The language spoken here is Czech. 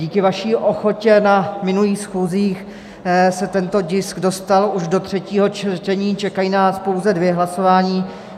Díky vaší ochotě na minulých schůzích se tento tisk dostal už do třetího čtení, čekají nás pouze dvě hlasování.